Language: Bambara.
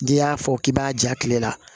N'i y'a fɔ k'i b'a ja kile la